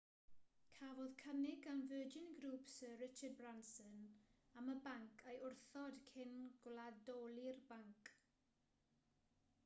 cafodd cynnig gan virgin group syr richard branson am y banc ei wrthod cyn gwladoli'r banc